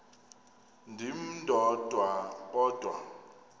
ndim ndodwa kodwa